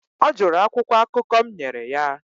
ọ jụrụ akwụkwọ akụkọ m nyere ya